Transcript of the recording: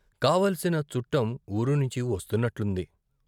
కావలసిన చుట్టం ఊరునుంచి వస్తున్నట్లుంది.